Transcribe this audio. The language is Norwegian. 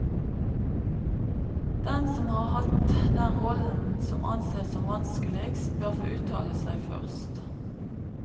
Den som har hatt den rollen som anses som vanskeligst, bør få uttale seg først.